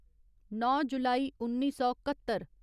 नौ जुलाई उन्नी सौ घत्तर